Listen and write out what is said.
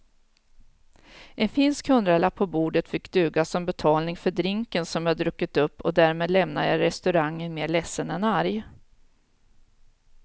En finsk hundralapp på bordet fick duga som betalning för drinken som jag druckit upp och därmed lämnade jag restaurangen mer ledsen än arg.